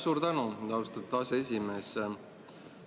Suur tänu, austatud aseesimees!